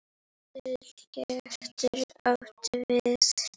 Stuðull getur átt við